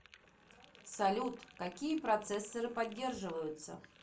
салют какие процессоры поддерживаются